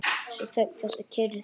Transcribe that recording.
Þessi þögn, þessi kyrrð!